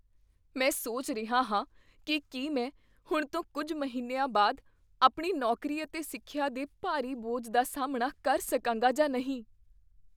ਮੈਂ ਸੋਚ ਰਿਹਾ ਹਾਂ ਕੀ ਕੀ ਮੈਂ ਹੁਣ ਤੋਂ ਕੁੱਝ ਮਹੀਨਿਆਂ ਬਾਅਦ, ਆਪਣੀ ਨੌਕਰੀ ਅਤੇ ਸਿੱਖਿਆ ਦੇ ਭਾਰੀ ਬੋਝ ਦਾ ਸਾਮ੍ਹਣਾ ਕਰ ਸਕਾਂਗਾ ਜਾਂ ਨਹੀਂ।